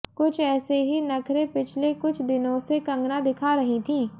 कुछ ऐसे ही नखरे पिछले कुछ दिनों से कंगना दिखा रही थीं